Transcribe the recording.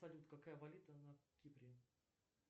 салют какая валюта на кипре